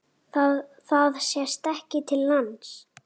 Það sést ekki til lands.